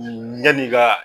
yann'i ka